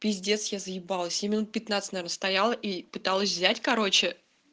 пиздец я заебалась я минут пятнадцать наверно стояла и пыталась взять короче